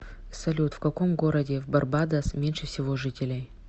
салют в каком городе в барбадос меньше всего жителей